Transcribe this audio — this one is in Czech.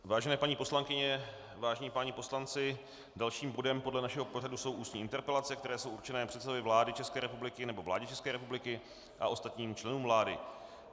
Vážené paní poslankyně, vážení páni poslanci, dalším bodem podle našeho pořadu jsou ústní interpelace, které jsou určené předsedovi vlády České republiky nebo vládě České republiky a ostatním členům vlády.